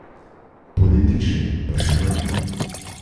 Politične pa še manj.